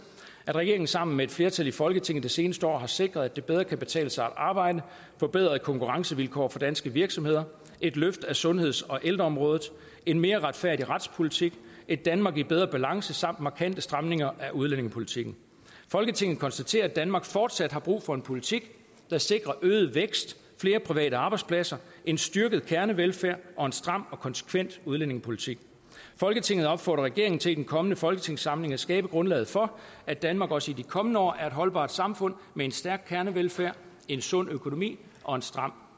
at regeringen sammen med et flertal i folketinget det seneste år har sikret at det bedre kan betale sig at arbejde forbedrede konkurrencevilkår for danske virksomheder et løft af sundheds og ældreområdet en mere retfærdig retspolitik et danmark i bedre balance samt markante stramninger af udlændingepolitikken folketinget konstaterer at danmark fortsat har brug for en politik der sikrer øget vækst flere private arbejdspladser en styrket kernevelfærd og en stram og konsekvent udlændingepolitik folketinget opfordrer regeringen til i den kommende folketingssamling at skabe grundlaget for at danmark også i de kommende år er et holdbart samfund med en stærk kernevelfærd en sund økonomi og en stram